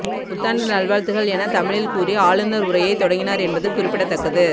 புத்தாண்டு நல்வாழ்த்துகள் என தமிழில் கூறி ஆளுநர் உரையை தொடங்கினார் என்பது குறிப்பிடத்தக்கது